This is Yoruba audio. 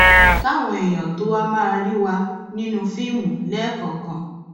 káwọn èèyàn tó wáá máa rí wà nínú fíìmù lẹẹkọọkan